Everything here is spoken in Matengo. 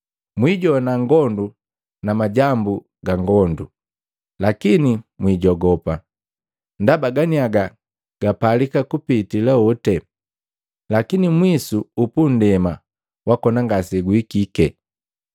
Mwijowana ngondu na majambu ga ngondu, lakini mwijogopa. Ndaba ganiaga gapalika kupitila hoti, lakini mwisu upundema wakona ngaseguhikike.